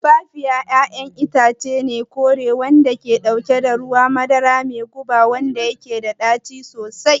Tumfafiya ƴaƴan itace ne kore wanda ke dauke da ruwan madara mai guba wanda yake da ɗaci sosai.